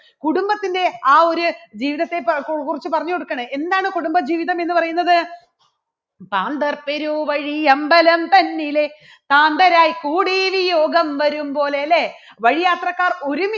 കുടുംബത്തിൻറെ ആ ഒരു ജീവിതത്തെപക്കു~ക്കുറിച്ച് പറഞ്ഞുകൊടുക്കുകയാണ് എന്താണ് കുടുംബജീവിതം എന്ന് പറയുന്നത് ക്രാന്തർ പെരുവഴി അമ്പലം തന്നിലെ ഭ്രാന്തരായി കൂടിയ ഒരു രോഗം വരും പോലെ അല്ലേ വഴിയാത്രക്കാർ ഒരുമിച്ച്